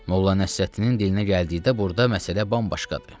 Molla Nəsrəddinin dilinə gəldikdə burda məsələ bambaşqadır.